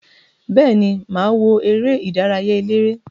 Beeni, maa wo ere idaraya elere.